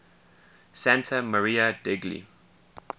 santa maria degli